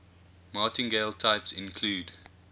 martingale types include